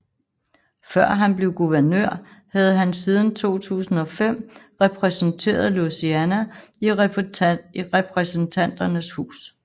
Før han blev guvernør havde han siden 2005 repræsenteret Louisiana i Repræsentanternes Hus